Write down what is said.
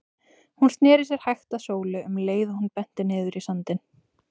Hún sneri sér hægt að Sólu um leið og hún benti niður í sandinn.